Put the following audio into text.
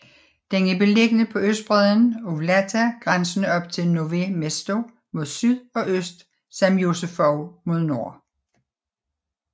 Den er beliggende på østbreden af Vltava grænsende op til Nové Město mod syd og øst samt Josefov mod nord